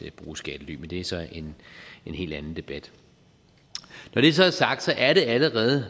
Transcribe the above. at bruge skattely men det er så en helt anden debat når det så er sagt er det allerede